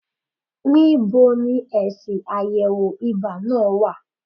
Níbo ni èsì àyẹ̀wò ibà náà wà?